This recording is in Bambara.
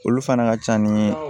Olu fana ka ca ni